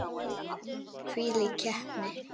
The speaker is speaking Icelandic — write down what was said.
Hvílík heppni!